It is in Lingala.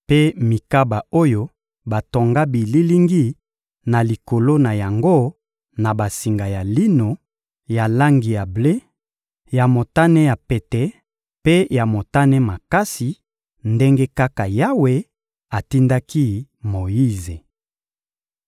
mpe mikaba oyo batonga bililingi na likolo na yango na basinga ya lino ya langi ya ble, ya motane ya pete mpe ya motane makasi, ndenge kaka Yawe atindaki Moyize.